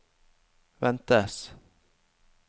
ventes